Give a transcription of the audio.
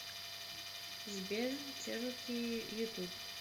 сбер чероки ютуб